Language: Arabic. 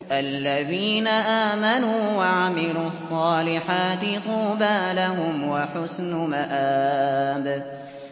الَّذِينَ آمَنُوا وَعَمِلُوا الصَّالِحَاتِ طُوبَىٰ لَهُمْ وَحُسْنُ مَآبٍ